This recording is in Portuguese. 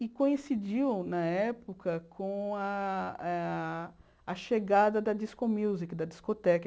E coincidiu, na época, com a a chegada da disco music, da discoteca.